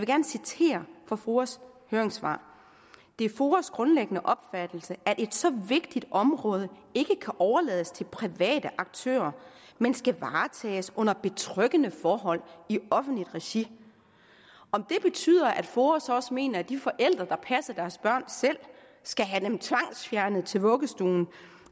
gerne citere fra foas høringssvar det er foas grundlæggende opfattelse at et så vigtigt område ikke kan overlades til private aktører men skal varetages under betryggende forhold i offentligt regi om det betyder at foa så også mener at de forældre der passer deres børn selv skal have dem tvangsfjernet til vuggestuen